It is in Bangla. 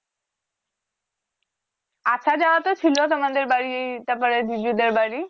আসা যাওয়া তো ছিলো তোমাদের বাড়ির তারপরে দিদিদের বাড়ি